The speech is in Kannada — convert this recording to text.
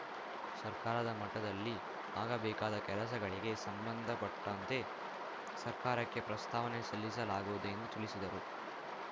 ಸರ್ಕಾರದ ಮಟ್ಟದಲ್ಲಿ ಆಗಬೇಕಾದ ಕೆಲಸಗಳಿಗೆ ಸಂಬಂಧಪಟ್ಟಂತೆ ಸರ್ಕಾರಕ್ಕೆ ಪ್ರಸ್ತಾವನೆ ಸಲ್ಲಿಸಲಾಗುವುದು ಎಂದು ತಿಳಿಸಿದರು